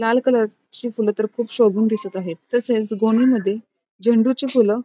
लाल कलर ची फुलं तर खूप शोभून दिसत आहेत तसेच गोणी मध्ये झेंडूची फुलं --